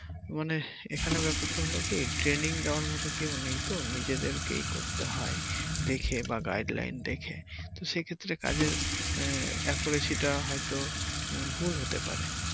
মানে এখানে ব্যাপার টা হলো কি training দেয়ার মতো কেউ নেই তো নিজেদেরকেই করতে হয় দেখে বা guideline দেখে সেক্ষেত্রে কাজের আহ টা হয়তো উম ভুল হতে পারে।